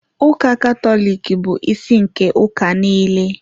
Ụka Katọlik bụ isi nke ụka niile.